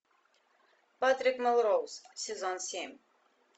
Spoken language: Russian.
патрик мелроуз сезон семь